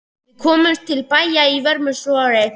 Við komumst til bæja að vörmu spori.